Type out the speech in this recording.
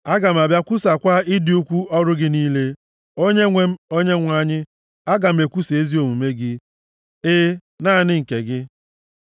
Aga m abịa kwusaakwa ịdị ukwu ọrụ gị niile, Onyenwe m Onyenwe anyị, aga m ekwusa ezi omume gị, e, naanị nke gị.